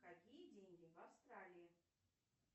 какие деньги в австралии